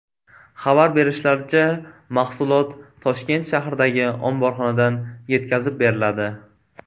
Xabar berishlaricha, mahsulot Toshkent shahridagi omborxonadan yetkazib beriladi.